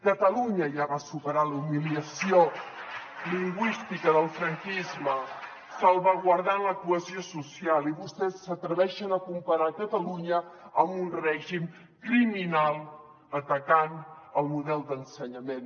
catalunya ja va superar la humiliació lingüística del franquisme salvaguardant la cohesió social i vostès s’atreveixen a comparar catalunya amb un règim criminal atacant el model d’ensenyament